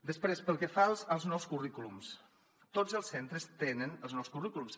després pel que fa als nous currículums tots els centres tenen els nous currículums